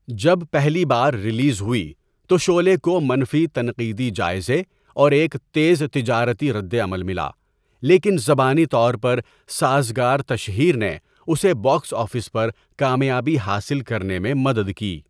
جب پہلی بار ریلیز ہوئی، تو شعلے کو منفی تنقیدی جائزے اور ایک تیز تجارتی ردعمل ملا، لیکن زبانی طور پر سازگار تشہیر نے اسے باکس آفس پر کامیابی حاصل کرنے میں مدد کی۔